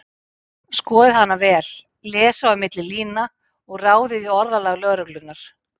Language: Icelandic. Skoðið hana vel, lesið á milli lína og ráðið í orðalag lögreglunnar.